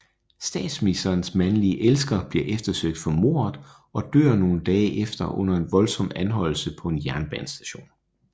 Statsministerens mandlige elsker bliver eftersøgt for mordet og dør nogle dage efter under en voldsom anholdelse på en jernbanestation